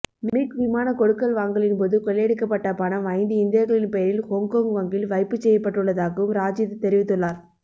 மிக் விமான கொடுக்கல் வாங்கலின் போது கொள்ளையடிக்கப்பட்ட பணம் ஐந்து இந்தியர்களின் பெயரில் ஹொங்கொங் வங்கியில் வைப்புச்செய்யப்பட்டுள்ளதாகவும் ராஜித தெரிவித்துள்ளார்